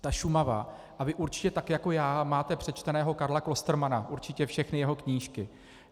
Ale Šumava, a vy určitě tak jako já máte přečteného Karla Klostermanna, určitě všechny jeho knížky.